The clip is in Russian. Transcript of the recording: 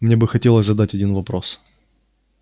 мне бы хотелось задать один вопрос